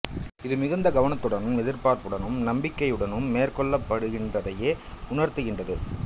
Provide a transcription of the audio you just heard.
இது மிகுந்த கவனத்துடன் எதிர்பார்ப் புடனும் நம்பிக்கையுடனும் மேற்கொள்ளப்படு கின்றதையே உணர்த்துகின்றது